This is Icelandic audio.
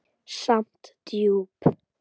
Samt djúp.